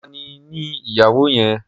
Tani ni ìyàwó yẹn?